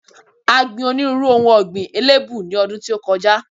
A gbi onírúnrú ohun ọ̀gbìn elébù ní ọdún tí ó kọjá.